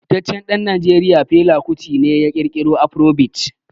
Fitaccen dan Najeriya Fela Kuti ne ya kirkiro Afrobeat.